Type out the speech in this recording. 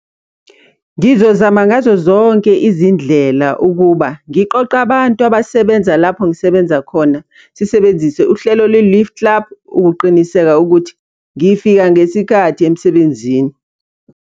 Ngizozama ngazo zonke izindlela ukuba, ngiqoqe abantu abasebenza lapho ngisebenza khona, sisebenzise uhlelo lwe-lift club ukuqiniseka ukuthi ngifika ngesikhathi emsebenzini.